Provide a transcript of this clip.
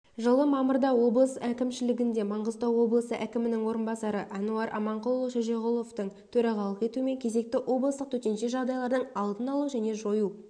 жылы мамырда облыс әкімшілігінде маңғыстау облысы әкімінің орынбасары әнуар аманқұлұлы шөжеғұловтың төрағалық етуімен кезекті облыстық төтенше жағдайлардың алдын алу және жою